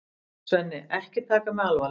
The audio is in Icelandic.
Svenni, ekki taka mig alvarlega.